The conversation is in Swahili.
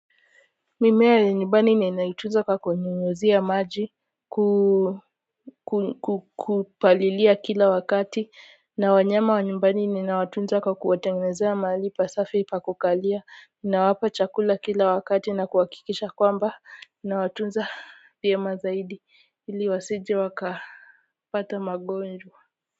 Mimea ya nyumbani ninaitunza kwa kunyunyuzia maji kukupalilia kila wakati na wanyama wa nyumbani ninawatunza kwa kuwatengenezea mahali pasafi pa kukalia nawapa chakula kila wakati na kuhakikisha kwamba nawatunza vyema zaidi ili wasije wakapata magonjwa.